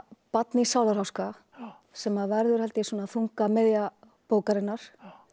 barn í sálarháska sem verður held ég þungamiðja bókarinnar